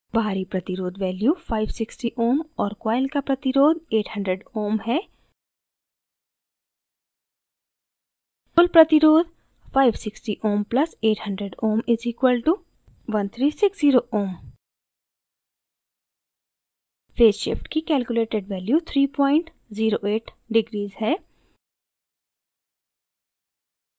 बाहरी प्रतिरोध value 560 ohm और coil का प्रतिरोध 800 ohm है कुल प्रतिरोध = 560 ohm + 800 ohm = 1360 ohm